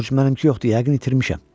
Corc, mənimki yoxdur, yəqin itirmişəm.